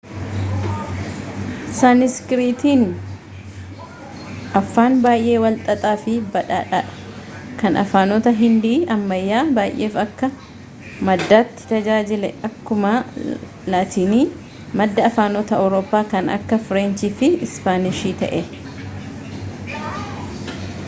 saaniskiriitiin afaan baay'ee walxaxaa fi badhaadhaadha kan afaanota hindii ammayyaa baay'eef akka maddaatti tajaajile akkuma laatiin madda afaanota awurooppaa kan akka fireenchii fi ispaanishii ta'e